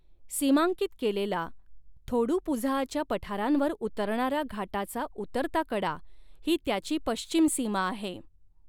सीमांकित केलेला थोडुपुझआच्या पठारांवर उतरणारा घाटाचा उतरता कडा ही त्याची पश्चिम सीमा आहे.